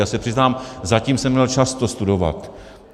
Já se přiznám, zatím jsem neměl čas to studovat.